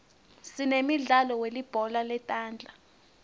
sinemidlalo welibhola letandla